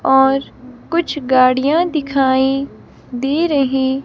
और कुछ गाड़ियां दिखाई दे रही --